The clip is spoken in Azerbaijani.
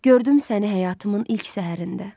Gördüm səni həyatımın ilk səhərində.